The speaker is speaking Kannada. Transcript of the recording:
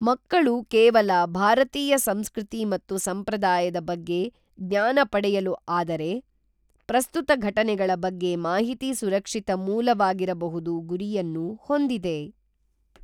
ಮಕ್ಕಳು ಕೇವಲ ಭಾರತೀಯ ಸಂಸ್ಕೃತಿ ಮತ್ತು ಸಂಪ್ರದಾಯದ ಬಗ್ಗೆ ಜ್ಞಾನ ಪಡೆಯಲು ಆದರೆ ಪ್ರಸ್ತುತ ಘಟನೆಗಳ ಬಗ್ಗೆ ಮಾಹಿತಿ ಸುರಕ್ಷಿತ ಮೂಲವಾಗಿರಬಹುದು ಗುರಿಯನ್ನು ಹೊಂದಿದೆ